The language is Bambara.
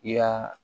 I y'a